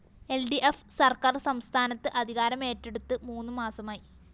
ൽ D F സര്‍ക്കാര്‍ സംസ്ഥാനത്ത് അധികാരമേറ്റെടുത്ത് മൂന്ന് മാസമായി